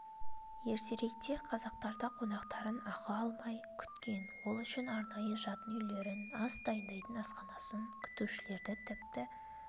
ертеректе қазақтарда қонақтарын ақы алмай күткен ол үшін арнайы жатын үйлерін ас дайындайтын асханасын күтушілерді тіпті